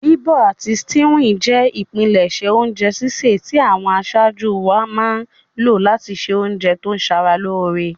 Bíbọ̀ àti stewing je ìpinlẹ̀sẹ̀ ounje sísẹ̀ ti àwon asájú wáa má n lo láti se ounje to sara lóre